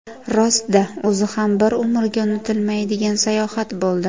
Rost-da, o‘zi ham bir umrga unutilmaydigan sayohat bo‘ldi.